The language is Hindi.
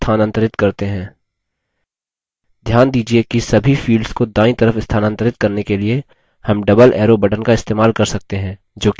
ध्यान दीजिये कि सभी fields को दायीं तरफ स्थानांतरित करने के लिए हम double arrow button का इस्तेमाल कर सकते हैं जोकि दायीं तरफ निर्देश कर रहा है